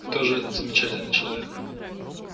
кто же этот замечательный человек